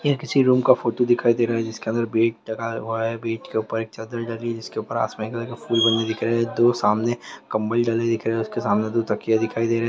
यह किसी रूम का फोटो दिखाई दे रहा है जिसके अंदर बेड लगा हुआ है बेड के ऊपर एक चद्दर जिसके ऊपर आसमानी कलर के फुल बने दिख रहे है दो सामने कम्बल डले दिख रहे है उसके सामने दो तकिया दिखाई दे रहे हैं।